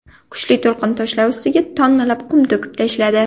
Kuchli to‘lqin toshlar ustiga tonnalab qum to‘kib tashladi.